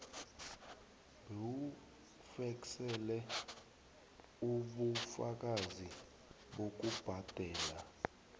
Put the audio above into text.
bewufeksele ubufakazi bokubhadela